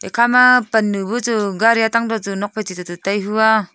ekhama pan nu buchu gari hatang tochu nokphai chuto chu tai hua.